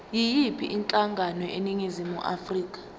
yiyiphi inhlangano eningizimu